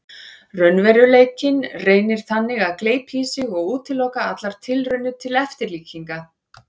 Raunveruleikinn reynir þannig að gleypa í sig og útiloka allar tilraunir til eftirlíkinga.